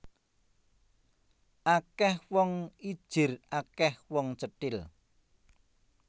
Akeh wong ijir akeh wong cethil